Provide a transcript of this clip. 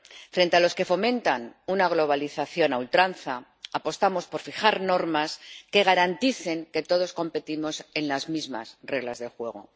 Frente a los que fomentan una globalización a ultranza, apostamos por fijar normas que garanticen que todos competimos con las mismas reglas de juego.